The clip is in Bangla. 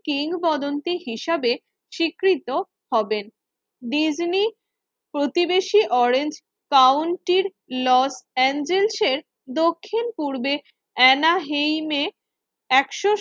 কিংবদন্তি হিসাবে স্বীকৃত হবেন। ডিজনি প্রতিবেশী অরেঞ্জ কাউন্টির লস এঞ্জেলসের দক্ষিণ-পূর্বে এনাহেইমে একশো